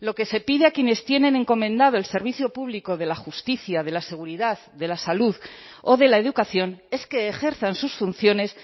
lo que se pide a quienes tienen encomendado el servicio público de la justicia de la seguridad de la salud o de la educación es que ejerzan sus funciones